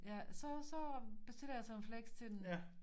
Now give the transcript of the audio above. Ja så så bestiller jeg sådan en flex til dem